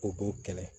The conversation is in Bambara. U b'o kɛlɛ